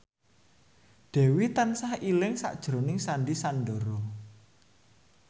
Dewi tansah eling sakjroning Sandy Sandoro